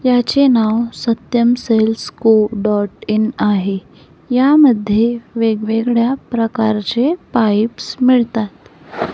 याचे नाव Satyam sales co dot in आहे. यामध्ये वेगवेगळ्या प्रकारचे पाईप्स मिळतात.